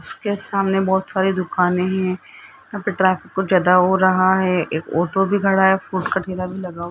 उसके सामने बहोत सारी दुकाने हैं यहां पर ट्रैफिक बहुत ज्यादा हो रहा है एक ओटो भी खड़ा है लगा --